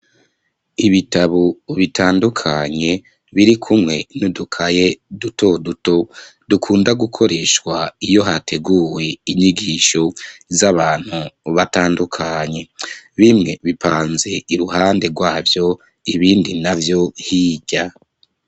Ibitabo bitandukanye biri kumwe n'udukaye duto duto dukunda gukoreshwa iyo hateguwe inyigisho z'abantu batandukanye. Bimwe bipanze iruhande rwavyo ibindi navyo hirya.